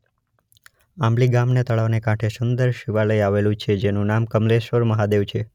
આંબલી ગામના તળાવને કાંઠે સુંદર શિવાલય આવેલું છે જેનુ નામ કમલેશ્વર મહાદેવ છે.